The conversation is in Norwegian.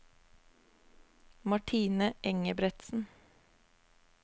Martine Engebretsen